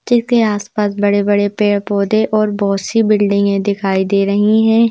जिसके आसपास बड़े-बड़े पेड़-पौधे और बहुत सी बिल्डिंगें दिखाई दे रही हैं।